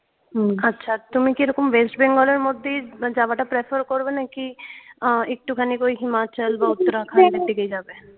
আচ্ছা তুমি কি এরকম west bengal এর মধ্যে যাবাটা prefer করবেনাকি? আহ একটুখানি ওই himachal বা Uttarakhand এর দিকেই যাবে?